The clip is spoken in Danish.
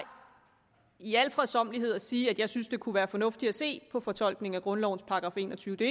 i al fredsommelighed at sige at jeg synes at det kunne være fornuftigt at se på fortolkningen af grundlovens § enogtyvende det